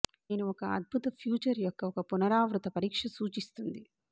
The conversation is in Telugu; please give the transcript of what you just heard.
నేను ఒక అద్భుత ఫ్యూచర్ యొక్క ఒక పునరావృత పరీక్ష సూచిస్తుంది